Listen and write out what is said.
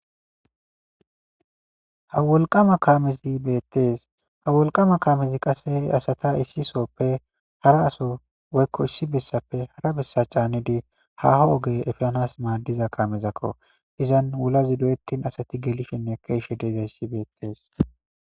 Ha wolqqama kaamezi betes ha wolqqama kaamezi asata issi sohoppe haraso woykko issi bessappe hara bessa caanidii haaho ooge epanas maaddiza kaamezakko izan wullazi doyettin asati gelishenne ke'ishahe dizayssi beetes